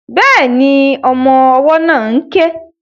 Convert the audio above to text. Bẹ́ẹ̀ni, ọmọ ọwọ́ náà ń ké